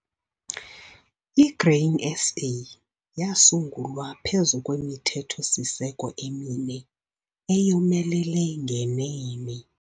I-Grain SA yasungulwa phezu kwemithetho-siseko emine eyomelele ngenene.